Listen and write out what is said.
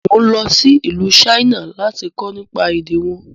Mo ń lọ sí ìlú China lati kọ́ nípa èdè wọn